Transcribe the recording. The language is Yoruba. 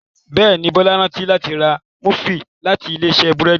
Béèni Bola rántí láti rà Múfìn láti Ilé-iṣẹ́ búrẹ́d.